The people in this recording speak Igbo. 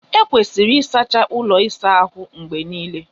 Ekwesịrị ịsacha ụlọ ịsa ahụ mgbe niile.